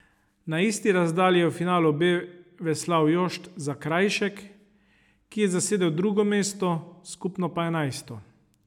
Na isti razdalji je v finalu B veslal Jošt Zakrajšek, ki je zasedel drugo mesto, skupno pa enajsto.